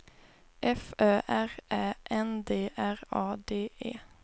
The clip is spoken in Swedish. F Ö R Ä N D R A D E